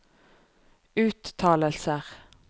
uttalelser